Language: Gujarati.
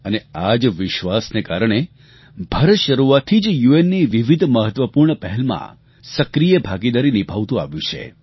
અને આ જ વિશ્વાસને કારણે ભારત શરૂઆતથી જ યુએનની વિવિધ મહત્વપૂર્ણ પહેલમાં સક્રિય ભાગીદારી નિભાવતું આવ્યું છે